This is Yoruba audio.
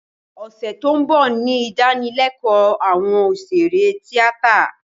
Ọ̀sẹ̀ tí ó ń bọ̀ ni ìdánilékòó àwọn òṣèré tíátà